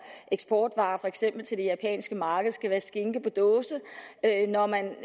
eksportvare for eksempel til det japanske marked skal være skinke på dåse når man